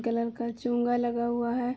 Colour का चोंगा लगा हुआ हैं।